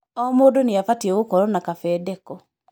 O mdũ nĩ abatiĩ gokoroo na kafedeko.